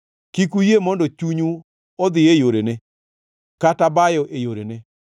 Kik uyie mondo chunyu odhi e yorene, kata bayo e yorene.